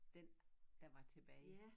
Den der var tilbage